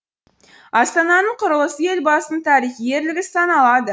астананың құрылысы елбасының тарихи ерлігі саналады